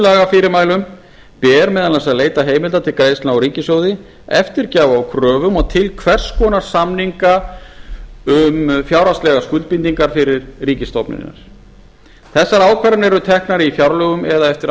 lagafyrirmælum ber meðal annars að leita heimilda til greiðslna úr ríkissjóði eftirgjafa á kröfum og til hvers konar samninga um fjárhagslegar skuldbindingar fyrir ríkisstofnanir þessar ákvarðanir eru teknar í fjárlögum eða eftir